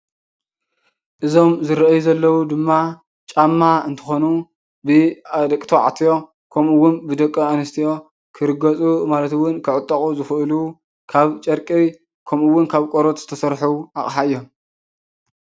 እዞም ዝረአዩ ዘለው ድማ ጫማ እንትኾኑ ብደቂ ተባዕትዮ ከምኡ እውን ብደቂ አንስትዮ ክርገፁ ማለት እውን ክዕጠቑ ዝኽእሉ ካብ ጨርቂ ከምኡ እውን ካብ ቆርበት ዝተሰርሑ አቕሓ እዮም።